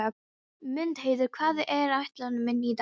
Mundheiður, hvað er á áætluninni minni í dag?